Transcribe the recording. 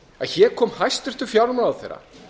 að hér kom hæstvirtur fjármálaráðherra